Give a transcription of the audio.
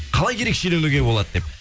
қалай ерекшеленуге болады деп